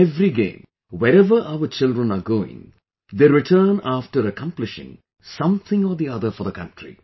In every game, wherever our children are going, they return after accomplishing something or the other for the country